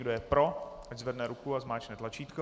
Kdo je pro, ať zvedne ruku a zmáčkne tlačítko.